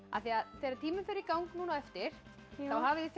þegar tíminn fer í gang á eftir þá hafið þið fimm